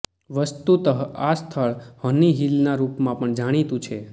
વસ્તુતઃ આ સ્થળ હની હિલના રુપમાં પણ જાણીતું છે